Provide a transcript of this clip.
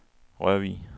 Rørvig